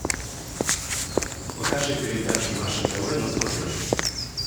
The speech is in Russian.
покажи передачу наше тв на смотрешке